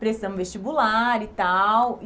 Pressão vestibular e tal.